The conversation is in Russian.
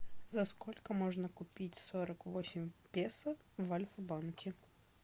за сколько можно купить сорок восемь песо в альфа банке